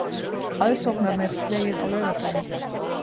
Aðsóknarmet slegið á laugardaginn